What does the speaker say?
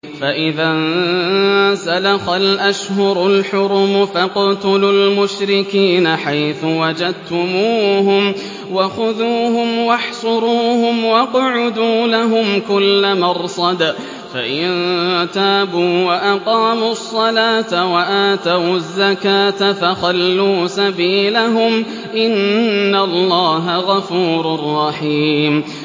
فَإِذَا انسَلَخَ الْأَشْهُرُ الْحُرُمُ فَاقْتُلُوا الْمُشْرِكِينَ حَيْثُ وَجَدتُّمُوهُمْ وَخُذُوهُمْ وَاحْصُرُوهُمْ وَاقْعُدُوا لَهُمْ كُلَّ مَرْصَدٍ ۚ فَإِن تَابُوا وَأَقَامُوا الصَّلَاةَ وَآتَوُا الزَّكَاةَ فَخَلُّوا سَبِيلَهُمْ ۚ إِنَّ اللَّهَ غَفُورٌ رَّحِيمٌ